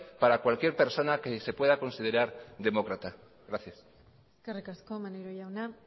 para cualquier persona que se pueda considerar demócrata gracias eskerrik asko maneiro jauna